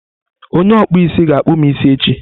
Onye okpụ isi ga akpụm isi echi.